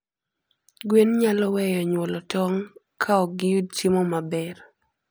gwen nyalo weyo nyuolo tong kaogiyud chiemo maber